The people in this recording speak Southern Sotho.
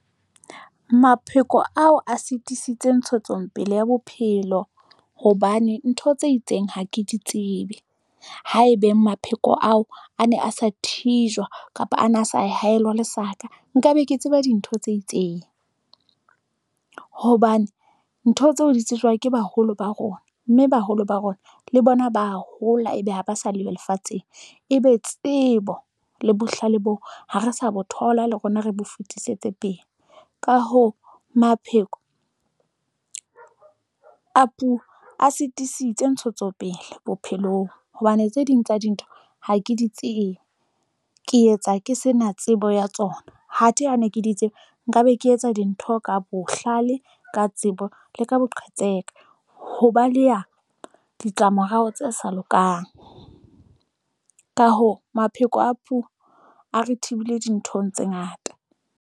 Mapheko ao a sitisitse ntshetsongpele ya bophelo hobane ntho tse itseng ha ke di tsebe. Haebeng mapheko ao, a ne a sa thijwa kapa ana a sa haelwa lesaka, nkabe ke tseba dintho tse itseng. Hobane ntho tseo di tsejwa ke baholo ba rona, mme baholo ba rona le bona ba hola, ebe ha ba sa leyo lefatsheng. Ebe tsebo le bohlale bo ha re sa bo thola, le rona, re bo fetisetse pele. Ka hoo mapheko a sitisitse ntshetsopele bophelong hobane tse ding tsa dintho ha ke di tsebe. Ke etsa ke sena tsebo ya tsona. Hathe ha ne ke di tseba nka be ke etsa dintho ka bohlale, ka tsebo le ka boqhetseke. Ho baleha ditlamorao tse sa lokang, ka hoo, mapheko a puo a re thibile dinthong tse ngata.